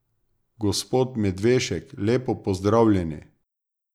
Gospod Medvešek lepo pozdravljeni.